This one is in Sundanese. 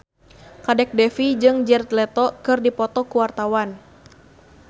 Kadek Devi jeung Jared Leto keur dipoto ku wartawan